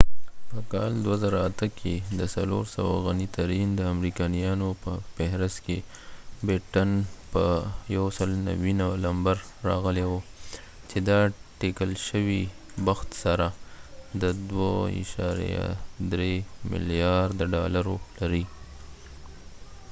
په کال 2008 کي د 400 غنې ترين د امریکایانو په فهرست کي بټټن په 190 لمبر راغلي و چي د اټکل شوي بخت سره د 2.3 ملیارد ډالرو لرې